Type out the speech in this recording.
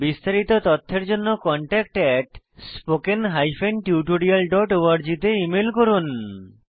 বিস্তারিত তথ্যের জন্য contactspoken tutorialorg তে ইমেল করুন